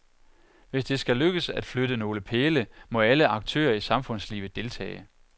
Hvis det skal lykkes at flytte nogle pæle, må alle aktører i samfundslivet deltage.